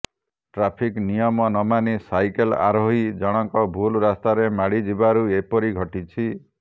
traffic ନିୟମ ନମାନି cycle ଆରୋହୀ ଜଣକ ଭୁଲ ରାସ୍ତାରେ ମାଡି ଯିବାରୁ ଏପରି ଘଟିଛି